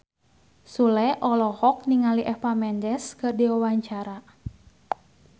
Sule olohok ningali Eva Mendes keur diwawancara